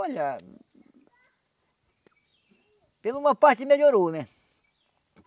Olha... Por uma parte melhorou, né?